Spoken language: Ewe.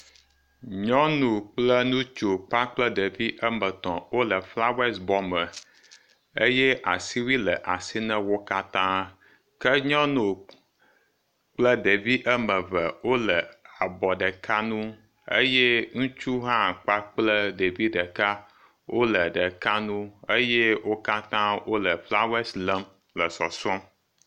Nyɔnu kple ŋutsu kpakple ɖevi wo ame etɔ̃ wole flawesi bɔme eye asiwui le asi na wo katã. Ke nyɔnu kple ɖevi ame eve wole abɔ ɖeka nu eye ŋutsu hã kpakple ɖevi ɖeka wole ɖeka nu eye wo katã wole flawesi lém le sɔsrɔ̃m.